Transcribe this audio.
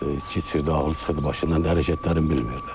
İçki içirdi, ağlı çıxırdı başından, hərəkətlərin bilmirdi.